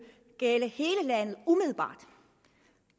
gælde hele landet